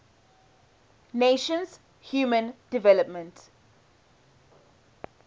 nations human development